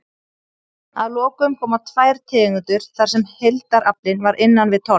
Að lokum koma tvær tegundir þar sem heildaraflinn var innan við tonn.